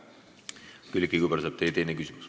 Külliki Kübarsepp, teie teine küsimus.